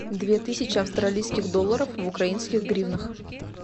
две тысячи австралийских долларов в украинских гривнах